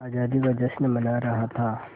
आज़ादी का जश्न मना रहा था